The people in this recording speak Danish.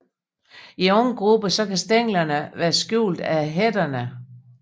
I unge grupper kan stænglerne være skjult af hætterne